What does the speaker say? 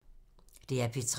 DR P3